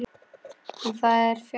En það er fjarri lagi.